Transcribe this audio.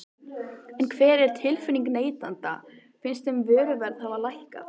En hver er tilfinningin neytenda, finnst þeim vöruverð hafa lækkað?